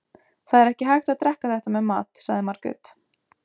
Það er ekki hægt að drekka þetta með mat, sagði Margrét.